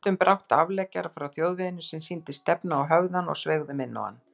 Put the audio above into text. Við fundum brátt afleggjara frá þjóðveginum sem sýndist stefna á höfðann og sveigðum inná hann.